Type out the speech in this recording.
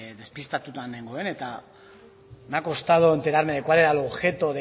despistatuta nengoen me ha costado enterarme de cuál era el objeto